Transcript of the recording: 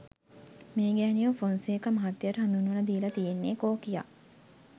මේ ගෑණිව ෆොන්සේකා මහත්තයට හඳුන්වලදීල තියෙන්නෙ කෝකියා.